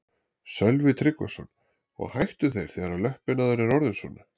Sölvi Tryggvason: Og hættu þeir þegar að löppin á þér er orðin svona?